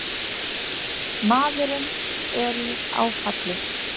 Maðurinn er í áfalli